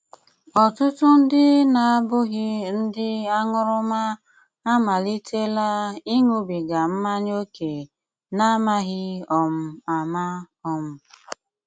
Ọ́tụ́tù ndị na-abúghí ndị áṅúrúmà ámálítélá íṅúbígá mmányá óké n'ámághí um ámá. um